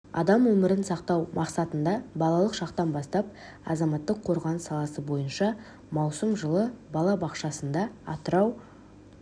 адам өмірін сақтау мақсатында балалық шақтан бастап азаматтық қорғаныс саласы бойынша маусым жылы бала бақшасында атырау